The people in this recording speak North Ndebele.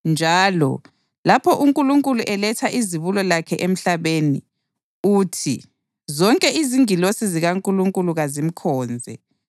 Njalo, lapho uNkulunkulu eletha izibulo lakhe emhlabeni, uthi: “Zonke izingilosi zikaNkulunkulu kazimkhonze.” + 1.6 UDutheronomi 32.43